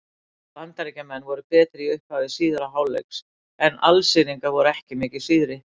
Bandaríkjamenn voru betri í upphafi síðari hálfleiks en Alsíringar voru ekki mikið síðri.